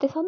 ਪਰ